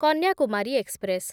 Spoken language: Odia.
କନ୍ୟାକୁମାରୀ ଏକ୍ସପ୍ରେସ୍